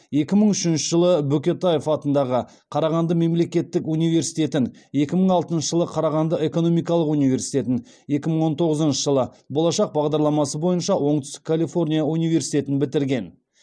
екі мың үшінші жылы бөкетаев атындағы қарағанды мемлекеттік университетін екі мың алтыншы жылы қарағанды экономикалық университетін екі мың он тоғызыншы жылы болашақ бағдарламасы бойынша оңтүстік калифорния университетін бітірген